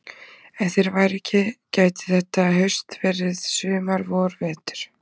Ef þeir væru ekki gæti þetta haust verið sumar vor vetur.